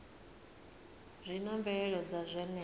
zwi na mvelelo dza zwenezwo